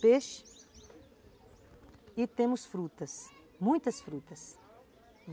Peixe e temos frutas, muitas frutas.